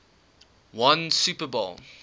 won super bowl